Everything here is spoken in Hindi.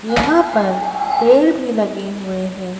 यहां पर पेड़ भी लगे हुए हैं।